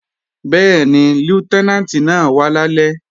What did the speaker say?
Bẹ́ẹ̀ni, Lútẹ́nàǹtì náà wá lálẹ́